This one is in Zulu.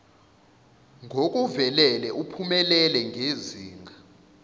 ngokuvelele uphumelele ngezinga